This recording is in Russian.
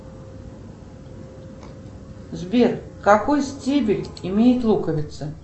сбер какой стебель имеет луковицы